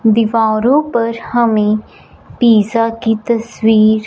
दीवारों पर हमे पिज़्ज़ा की तस्वीर--